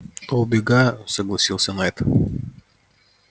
то убегаю согласился найд